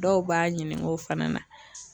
Dɔw b'a ɲininga o fana na.